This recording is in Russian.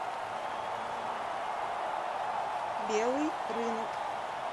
белый рынок